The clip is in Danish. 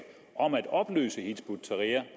om at opløse hizb ut tahrir